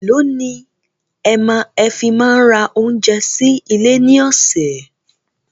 Èló ni ẹ fi máa ń ra oúnjẹ sí ilé ní ọ̀sẹ̀?